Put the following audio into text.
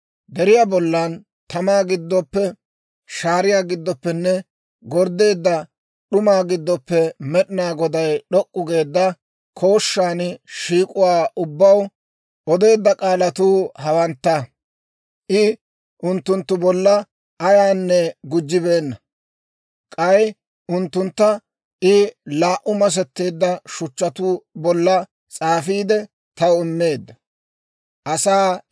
«Deriyaa bollan tamaa giddoppe, shaariyaa giddoppenne gorddeedda d'umaa giddoppe Med'inaa Goday d'ok'k'u geedda kooshshan shiik'uwaa ubbaw odeedda k'aalatuu hawantta; I unttunttu bollan ayaanne gujjibeenna. K'ay unttuntta I laa"u masetteedda shuchchatuu bolla s'aafiide, taw immeedda.